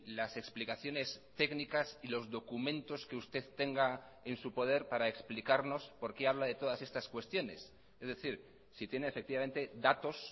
las explicaciones técnicas y los documentos que usted tenga en su poder para explicarnos por qué habla de todas estas cuestiones es decir si tiene efectivamente datos